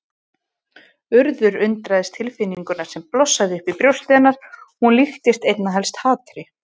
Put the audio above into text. Urður undraðist tilfinninguna sem blossaði upp í brjósti hennar, hún líktist einna helst hatri.